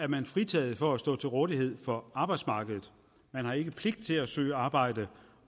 man fritaget for at stå til rådighed for arbejdsmarkedet man har ikke pligt til at søge arbejde